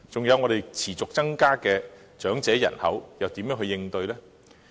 還有，香港的長者人口持續增加，要如何應對呢？